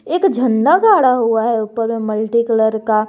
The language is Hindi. एक झंडा गाड़ा हुआ है ऊपर में मल्टी कलर का।